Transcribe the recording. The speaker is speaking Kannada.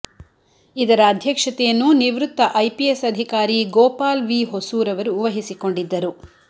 ಇದರ ಅಧ್ಯಕ್ಷತೆಯನ್ನು ನಿವೃತ್ತ ಐಪಿಎಸ್ ಅಧಿಕಾರಿ ಗೋಪಾಲ್ ವಿ ಹೊಸೂರ್ ಅವರು ವಹಿಸಿಕೊಂಡಿದ್ದರು